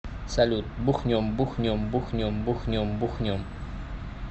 салют бухнем бухнем бухнем бухнем бухнем